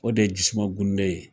O de ye jisumagunde ye.